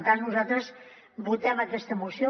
per tant nosaltres votem aquesta moció